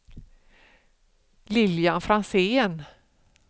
Lilian Franzén